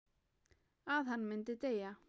Að hann myndi deyja.